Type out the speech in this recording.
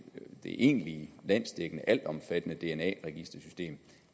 egentligt landsdækkende altomfattende dna registersystem